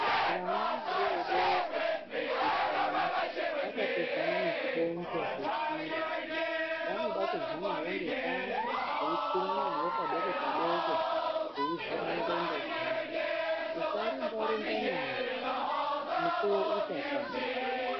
Wana wadoo doko, zvichechani wakatoodzana nezvidondzvo zveshiri, wanoda kubva nawo ngepashi weikwira nawo padoko padoko, wei vhera ndondo dzawo, musa rumba rumba nawo, mukuwo uchakwana.